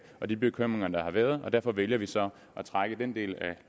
og de bekymringer der har været derfor vælger vi så at trække den del af